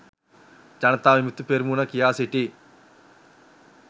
ජනතා විමුක්ති පෙරමුණ කියා සිටියි